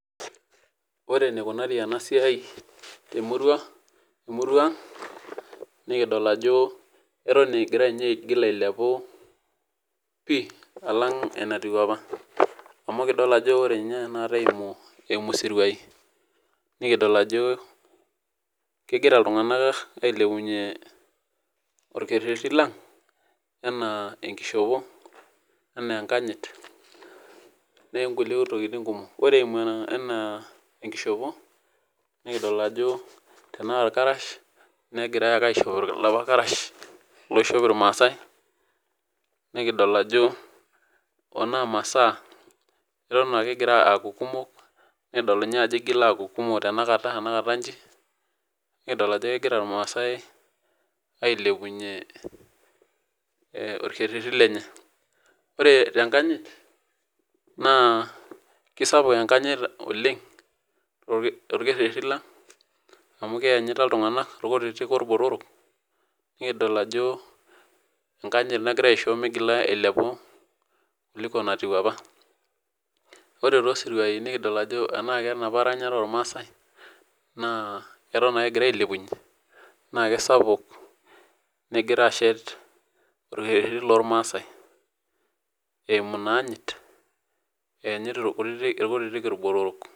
ore enikunari ena sii temurua ang, nikidol ajo, eton egira ninye ailepu pii alang' enatiu apa, amu ekidola ajo ore tenakata eimu isiruai nikidol ajo, kegira iltunganak ailepunye olkerti lang anaa enkishopo, ana enkanyit onkulie tokitin kumok. ore eimu enkishopo nikidol ajo tenaa ilarash, negirae ake aishooyo ilapa karash, oishop ilmaasai nikidol ajo kuna masaa eton ake egira aaku kumok, nikidol ninye ajo igila aaku kumok tenakata iji, nikidol ajo kegira irmaasae ailepunye, orkereti lenye. ore tnkayit na kisapuk enkanyit oleng, torkereti lang, amu keyanyita iltunganak ilkutitik olbotorok, nikidol ajo, enkanyit nagira aisho milepu kuliko natiu apa. ore kulo siruai nikidol ajo tenaa kenapa ranyare olmaasae eton ake egirae ailepunye, naa kisapuk negira ashet olkereti loormaasae eimu in anyitt eyenyit ilkutitik ilbotorok.